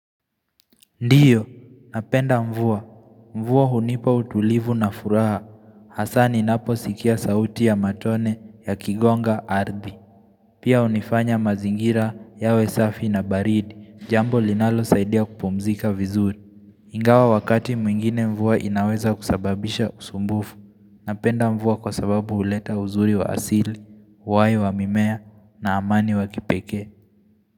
Ndiyo, napenda mvua. Mvua hunipa utulivu na furaha. Hasaa ninaposikia sauti ya matone yakigonga ardhi. Pia hunifanya mazingira yawe safi na baridi. Jambo linalo saidia kupumzika vizuri. Ingawa wakati mwingine mvua inaweza kusababisha usumbufu. Napenda mvua kwa sababu huleta uzuri wa asili, uhai wa mimea na amani wa kipeke.